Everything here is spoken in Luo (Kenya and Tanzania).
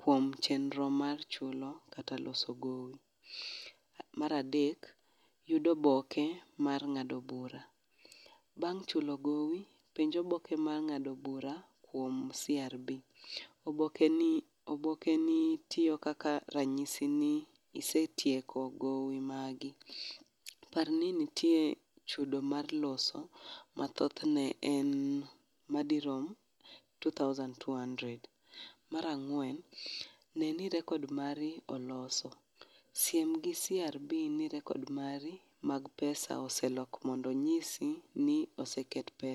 kuom chenro mar chulo kata loso gowi. Mar adek, yudo oboke mar ng'ado bura bang' chulo gowi penj oboke mar ng'ado bura kuom CRB. Oboke obokeni tiyo kaka ranyisi ni isetieko gowi magi. Par ni nitie chudo mar loso mathothne en madirom two thousand two hundred. Mar ang'wen, ne ni rekod mari oloso. Sim gi CRB ni rekod mari mag pesa oselos mondo onyisi ni oseket pesa.